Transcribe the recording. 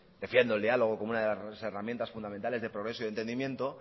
defiendo el diálogo como una de las herramientas fundamentales de progreso y de entendimiento